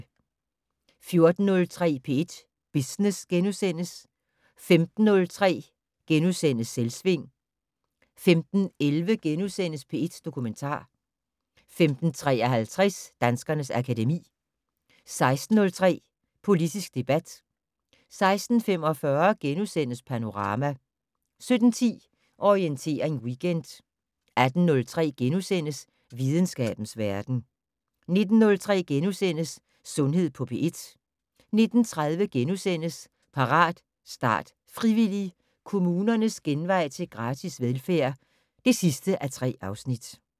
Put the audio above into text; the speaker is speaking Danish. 14:03: P1 Business * 15:03: Selvsving * 15:11: P1 Dokumentar * 15:53: Danskernes akademi 16:03: Politisk debat 16:45: Panorama * 17:10: Orientering Weekend 18:03: Videnskabens verden * 19:03: Sundhed på P1 * 19:30: Parat, start, frivillig! - Kommunernes genvej til gratis velfærd (3:3)*